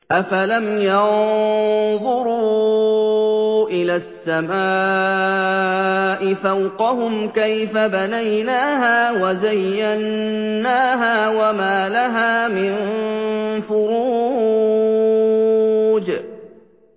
أَفَلَمْ يَنظُرُوا إِلَى السَّمَاءِ فَوْقَهُمْ كَيْفَ بَنَيْنَاهَا وَزَيَّنَّاهَا وَمَا لَهَا مِن فُرُوجٍ